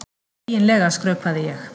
Eiginlega skrökvaði ég.